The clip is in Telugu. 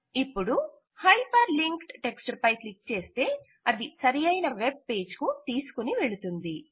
ఇపుడు హైపర్ లింక్డ్ టెక్ట్స్ పై క్లిక్ చేస్తే అది సరియైన వెబ్ పేజ్ కు తీసుకుని వెళుతుంది